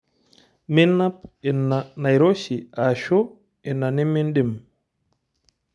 Minap ina naroshi ashu ina nimindim?